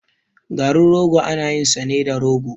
Garin rogo ana yin sa ne da rogo.